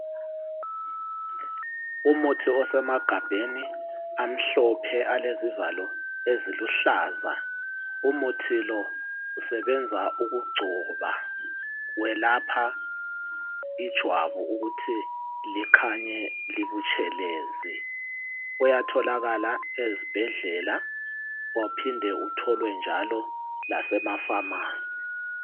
umuthi osemagabheni amhlophe alezivalo eziluhlaza tshoko, umuthi lo usebenza ukugcoba welapha ijwabu ukuthi likhanye libutshelezi uyatholakala ezibhedlela uphinde utholwe njalo lasemafamasi